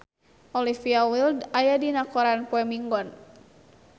Olivia Wilde aya dina koran poe Minggon